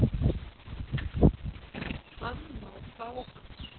Hann má fá hann